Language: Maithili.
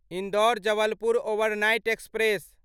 Indore Jabalpur overnight express